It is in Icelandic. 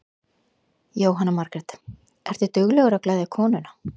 Jóhanna Margrét: Ertu duglegur að gleðja konuna?